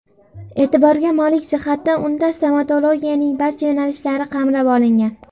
E’tiborga molik jihati, unda stomatologiyaning barcha yo‘nalishlari qamrab olingan.